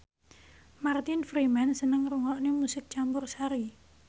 Martin Freeman seneng ngrungokne musik campursari